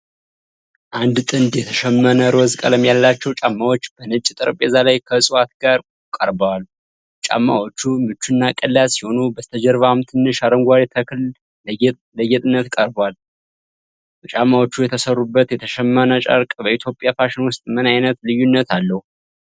አንድ ጥንድ የተሸመነ ሮዝ ቀለም ያላቸው ጫማዎች በነጭ ጠረጴዛ ላይ ከዕፅዋት ጋር ቀርበዋል። ጫማዎቹ ምቹና ቀላል ሲሆኑ፣ በስተጀርባም ትንሽ አረንጓዴ ተክል ለጌጥነት ቀርቧል። ጫማዎቹ የተሠሩበት የተሸመነ ጨርቅ በኢትዮጵያ ፋሽን ውስጥ ምን ዓይነት ልዩነት አለው?